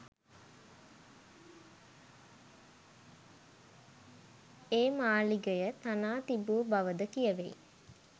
ඒ මාලිගය තනා තිබූ බවද කියැවෙයි.